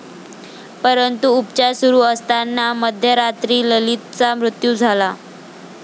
परंतु, उपचार सुरू असताना मध्यरात्री ललितचा मृत्यू झाला.